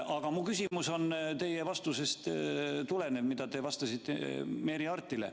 Aga minu küsimus tuleneb teie vastusest, mille andsite kolleeg Merry Aartile.